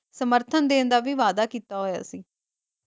ਸਮਰਥਨ ਦੇਣ ਦਾ ਵੀ ਵਾਦਾ ਕੀਤਾ ਹੋਇਆ ਸੀ ।